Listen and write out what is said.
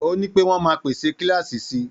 Ó ní pé wọ́n máa pèsè kíláàsì si.